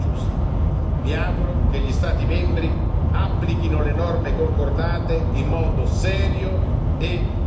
Mi auguro che gli Stati membri applichino le norme concordate in modo serio e diligente.